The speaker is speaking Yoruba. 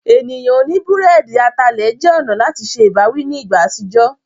Ènìyàn oní búrẹ́dì atalẹ̀ jẹ́ ọ̀nà láti se ìbáwí ní ìgbà àtijọ́.